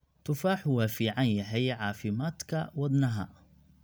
Tufaaxu waa fiican yahay caafimaadka wadnaha.